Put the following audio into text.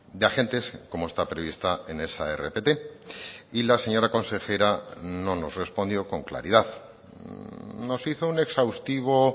de agentes como está prevista en esa rpt y la señora consejera no nos respondió con claridad nos hizo un exhaustivo